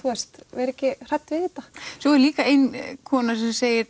vera ekki hrædd við þetta svo er líka ein kona sem segir